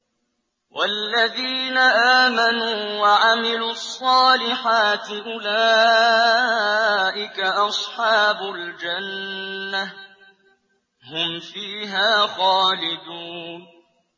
وَالَّذِينَ آمَنُوا وَعَمِلُوا الصَّالِحَاتِ أُولَٰئِكَ أَصْحَابُ الْجَنَّةِ ۖ هُمْ فِيهَا خَالِدُونَ